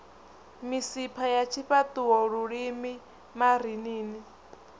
misipha ya tshifhaṱuwo lulimi marinini